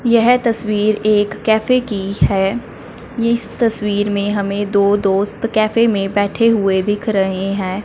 यह तस्वीर एक कैफे की है। इस तस्वीर में हमे दो दोस्त कैफे में बैठे हुए दिख रहे हैं।